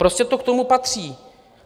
Prostě to k tomu patří.